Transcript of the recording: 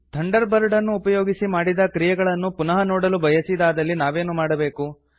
thunder bird ಅನ್ನು ಉಪಯೋಗಿಸಿ ಮಾಡಿದ ಕ್ರಿಯಗಳನ್ನು ಪುನಃ ನೋಡಲು ಬಯಸಿದಾದಲ್ಲಿ ನಾವೇನು ಮಾಡಬೇಕು